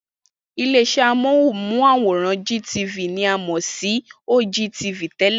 Ilé-iṣẹ́ amóhùnmáwòrán GTV ni a mọ̀ sí OGTV tẹ́lẹ̀.